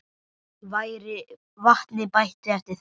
Vatni bætt við eftir þörfum.